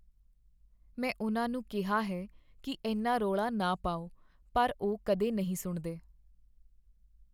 ਮੈਂ ਉਨ੍ਹਾਂ ਨੂੰ ਕਿਹਾ ਹੈ ਕੀ ਇੰਨਾ ਰੌਲਾ ਨਾ ਪਾਓ, ਪਰ ਉਹ ਕਦੇ ਨਹੀਂ ਸੁਣਦੇ।